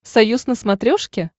союз на смотрешке